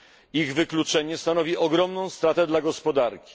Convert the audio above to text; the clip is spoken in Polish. Ich wykluczenie stanowi ogromną stratę dla gospodarki.